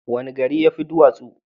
Wani gari ya fi duwatsu?